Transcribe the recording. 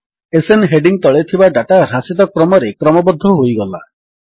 SN heading ତଳେ ଥିବା data ହ୍ରାସିତ କ୍ରମରେ କ୍ରମବଦ୍ଧ ହୋଇଗଲା